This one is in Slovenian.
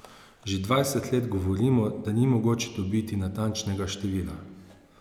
Že dvajset let govorimo, da ni mogoče dobiti natančnega števila.